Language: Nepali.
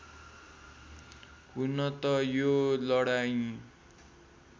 हुन त यो लडाईँ